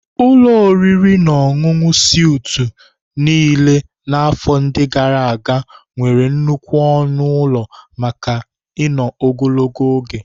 Ụlọ oriri na ọṅụṅụ Suitu niile na afọ ndi gara aga nwere nnukwu ọnụ ụlọ maka ino ogologo oge.